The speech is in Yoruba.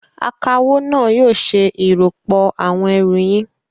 Akawó náà yóò ṣe ìròpọ̀ àwọn ẹrù yín.